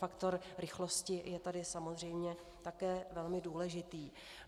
Faktor rychlosti je tu samozřejmě také velmi důležitý.